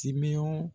Timinan